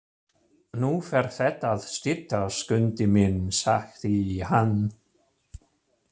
Nú fer þetta að styttast, Skundi minn, sagði hann.